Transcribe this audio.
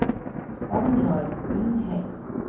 Agnar Undheim